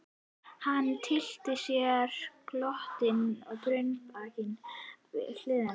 Hann tyllti sér glottandi á brunnbarminn við hlið hennar.